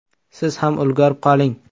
Siz ham ulgurib qoling!